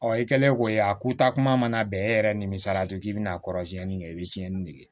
Ɔ i kɛlen ko ye a ko taa kuma mana bɛn e yɛrɛ nimisala to k'i bɛna kɔrɔsiɲɛni kɛ i bɛ tiɲɛni dege